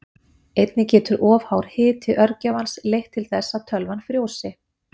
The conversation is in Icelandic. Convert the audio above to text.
Einnig getur of hár hiti örgjörvans leitt til þess að tölvan frjósi.